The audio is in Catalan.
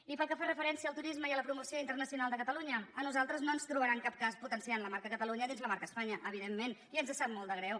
i pel que fa referència al turisme i a la promoció internacional de catalunya a nosaltres no ens trobarà en cap cas potenciant la marca catalunya dins la marca espanya evidentment i ens sap molt de greu